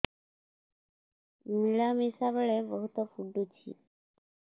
ମିଳାମିଶା ବେଳେ ବହୁତ ପୁଡୁଚି